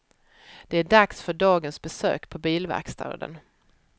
Det är dags för dagens besök på bilverkstaden.